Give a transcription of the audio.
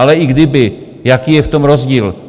Ale i kdyby, jaký je v tom rozdíl?